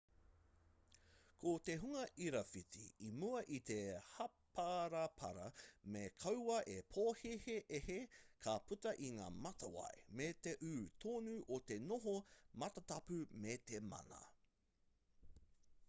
ko te hunga irawhiti i mua i te hāparapara me kaua e pōhēhē ka puta i ngā matawai me te ū tonu o te noho matatapu me te mana